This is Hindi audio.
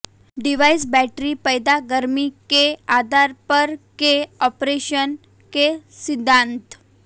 डिवाइस बैटरी पैदा गर्मी के आधार पर के आपरेशन के सिद्धांत